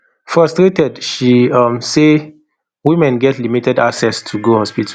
frustrated she um say women get limited access to go hospital